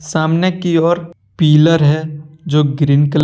सामने की ओर पिलर है जो ग्रीन कलर --